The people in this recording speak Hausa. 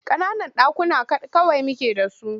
Ƙananan ɗakuna kawai muke da su.